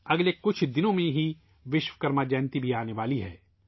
اگلے کچھ دنوں میں ہی ' وشوکرما جینتی ' بھی آنے والی ہے